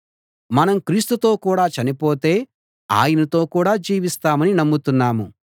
మనం క్రీస్తుతో కూడా చనిపోతే ఆయనతో కూడా జీవిస్తామని నమ్ముతున్నాము